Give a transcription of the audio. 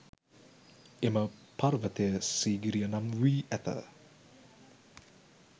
එම පර්වතය සීගිරිය නම් වී ඇත.